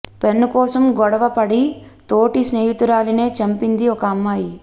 pen కోసం గొడవ పడి తోటి స్నేహితురాలినే చంపిది ఒక అమ్మాయి